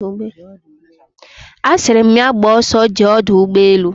Asiri my ya gba oso jee Odu Ugbe elu